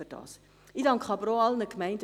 Ich danke aber auch allen Gemeinden.